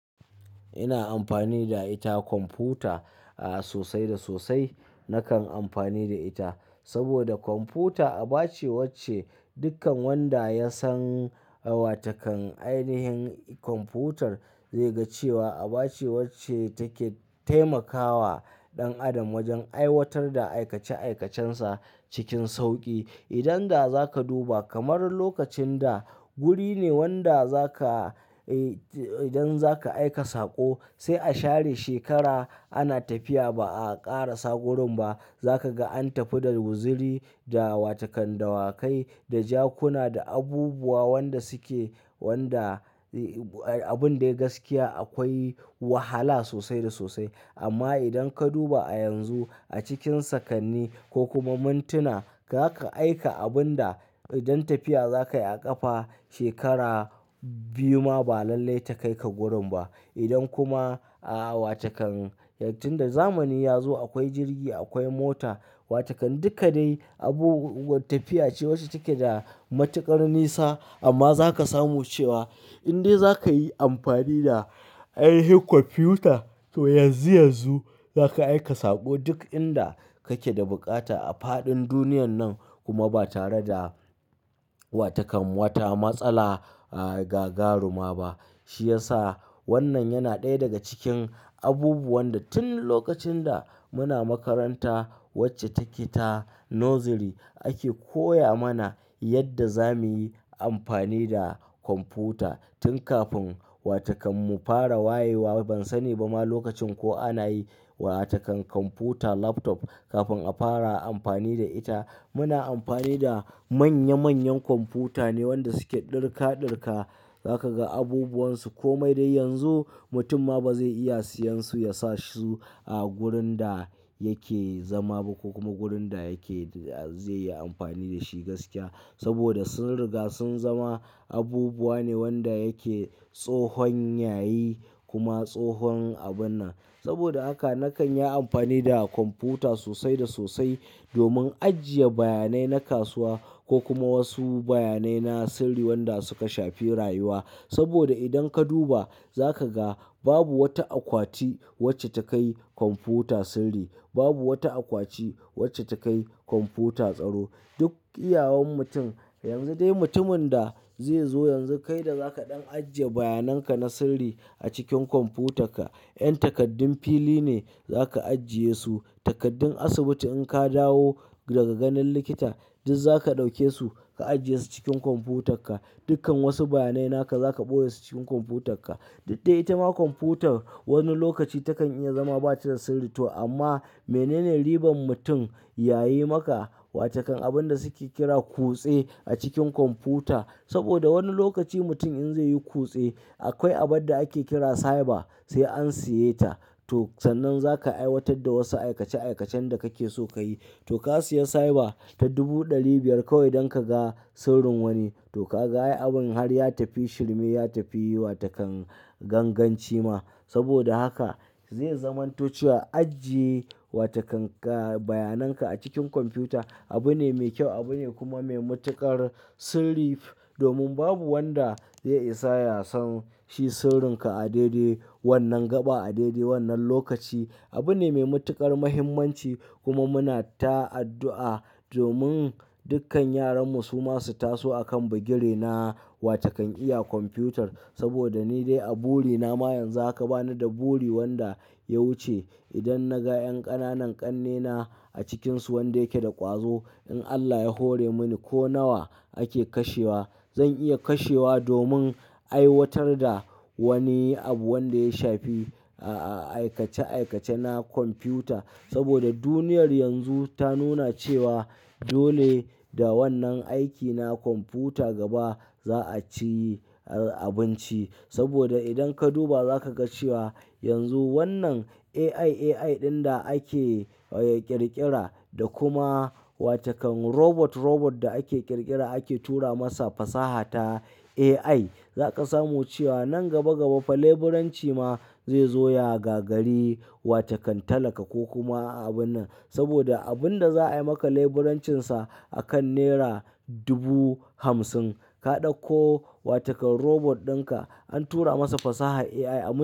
Ina amfani da ita kwamfuta sosai da sosai. Nakan amfani da ita saboda kwamfuta a bace wacce dukkan wanda ya san wa takan ainihin kwamfutar zai ga cewa a bace wacce take taimakawa ɗan adam wajen aiwatar da aikace aikacensa cikin sauƙi. Idan daza ka duba kamar lokacin da guri ne wanda za ka, idan za ka aika sako sai a share shekara ana tafiya ba a ƙara sa gurinba. Za ka ga an tafi da guziri, da wata kan dawakai, da jakuna, da abubuwa wanda suke wanda abun dai gaskiya akwai wahala sosai da sosai. Amma idan ka duba a yanzu a cikin sakanni ko kuma mintuna, za ka aika abun da idan tafiya za ka yi a ƙafa shekara biyu ma ba lallai ta kai ka gurin ba. Idan kuma ah watakan tunda zamani yazo akwai jirgi akwai mota watakan duka dai tafiya ce wadda take da matuƙar nisa amma zaka samu cewa indai zakayi amfani da ainihin kwamfuta to yanzu yanzu zaka aika saƙo duk inda kake da buƙata a faɗin duniyar nan kuma ba tare da watakan wata matsala ga garuma ba shiyasa wannan yana ɗaya daga cikin abubuwan da tun lokacin da muna makaranta wacce take ta nursery ake koya mana yadda zamuyi amfani da kwamfuta tun kafin watakun mufara wayewa. Ban sani ba ma lokacin ko ana yi wa takan kwamfuta laptop kafin a fara amfani da ita. Ina amfani da manya manyan kwamfuta ne wanda suke ɗurka ɗurka zaka ga abubuwansu komai dai yanzu mutum ma bazai iya siyansu yasasu a gurin dayake zama ba kokuma gurinda yake da zai yi amfani da shi gaskiya. Saboda sun riga sun zama abubuwa ne wanda yake tsohon yayi kuma tsohon abun nan. Saboda haka nakan yi amfani da kwamfuta sosai da sosai domin ajiye bayanai na kasuwa kokuma ajiye bayanai wanda suka shafi rayuwa saboda idan ka duba za ka ga babu wata akwati wacce ta kai kwamfuta sirri, babu wata akwati wacce ta kai kwamfuta tsaro. Duk iyawan mutum, yanzu dai mutumin da zai zo yanzu kai da za ka ɗan ajiye bayanan ka na sirri a cikin kwamfutarka. 'Yan takaddun fili ne za ka ajiye su. Takaddun asibiti in ka dawo daga ganin likita duk za ka ɗauke su ka ajiye su cikin kwamfutarka. Dukkan wasu bayanai naka za ka ɓoye su cikin kwamfutarka. Didda ita ma kwamfutar wani lokaci takan iya zama ba ta da sirri to amma menene riban mutum yayi maka wa takan abun da suke kira kutse a cikin kwamfuta. Saboda wani lokaci mutum in zai yi kutse akwai abad da ake kira cyber sai an siye ta. To, sannan za ka aiwatar da wasu aikace aikacen da kake so ka yi. To ka siya cyber ta dubu ɗari biyar kawai dan ka ga sirrin wani. To ka ga ai abun har ya tafi shirme, ya tafi wa takan ganganci ma. Saboda haka zai zamanto cewa ajiye wa takan ka bayananka a cikin kwamfuta abu ne mai kyau, abu ne kuma mai matuƙar sirri domin babu wanda zai isa ya san shi sirrinka a daidai wannan gaba, a daidai wannan lokaci. Abu ne mai matuƙar muhimmanci kuma muna ta addu'a domin dukkan yaranmu su masu taso a kan bugiri na wa takan iya kwamfutar. Saboda ni dai a buri na ma yanzu aka bani da buri wanda ya wuce. Idan na ga 'yan ƙananan ƙannena a cikinsu wanda yake da ƙwazo, in Allah ya hore muni ko nawa ake kashewa zan iya kashewa domin aiwatar da wani abu wanda ya shafi a-aikace aikace na kwamfuta. Saboda duniyar yanzu ta nuna cewa dole da wannan aiki na kwamfuta gaba za a ci abinci. Saboda idan ka duba za ka ga cewa yanzu wannan AI AI ɗin da ake ƙirƙira da kuma wa takan robot robot da ake ƙirƙira ake tura masa fasaha ta AI, za ka samu cewa nan gaba gaba fa leburanci ma zai zo ya gagari wa takan talaka ko kuma abun nan. Saboda abun da za a yi maka leburancinsa a kan naira dubu hamsin ka ɗauko wa takan robot ɗinka an tura masa fasaha AI a min.